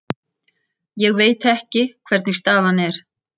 Ég veit ekki hvernig staðan er.